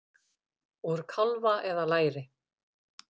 Úr kálfa eða læri!